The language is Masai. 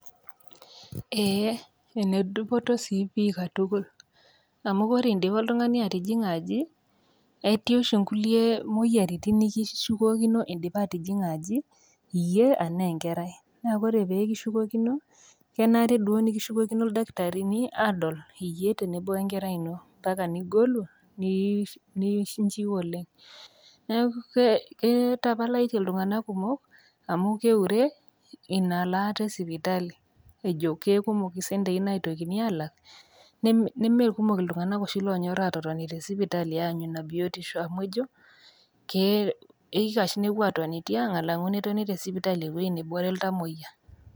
Eeeh, enedupoto sii pii katukul, amu ore idipa oltung'ani atijing'a aji, eti oshi kulie moyiaritin nikishukokino indipa atijing'a aji iyie anaa enkerai. Neeku ore pekishukokino kenare nikishukokino ildakitarini adol iyie tenebo wenkerai ino mpaka nigolu ninchiu oleng'. Neeku kitapalatie iltung'ana kumok amu keure ina laaata esipatali ajo kikumok isentei naitokini alak, nemekumok iltung'ana oshi lonyorr atotoni tesipatali aanyu ina biotisho amu ejo, keikash tenepuo atoni tiang' alang'u tesipatali alang' ewei nabore iltamoyia.